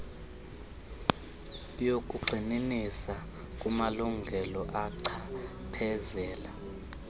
wokugxininisa kumalungela achaphezela